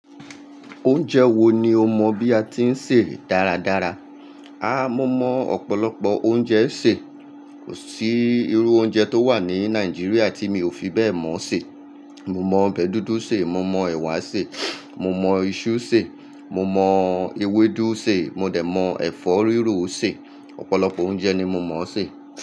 Oúnjẹ wo ni o mọ bí a ti ń sè dáradára? A! Mo mọ ọ̀pọ̀lọpọ̀ oúnjẹ sè. Kò sí irú oúnjẹ tó wà ní Nàìjíríà tí mi ò fi bẹ́ẹ̀ mọ̀ sè. Mo mọ ọbẹ̀ dúdú sè, mo mọ ẹ̀wà sè, mo mọ iṣu sè, mo mọ ewédú sè, mo dẹ̀ mọ ẹ̀fọ́ rírò sè. Ọ̀pọ̀lọpọ̀ oúnjẹ ni mo mọ̀ o sè.